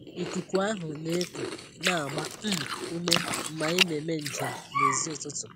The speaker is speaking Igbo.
Ikuku ahụ na-eku na-agba um ume mgbe anyị na-eme njem n'èzí ụtụtụ.